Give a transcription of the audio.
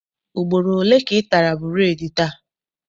Ugboro ole ka ị tara bureedi taa?